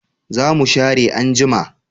Za mu share anjima